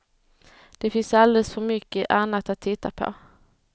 Det finns alldeles för mycket annat att titta på.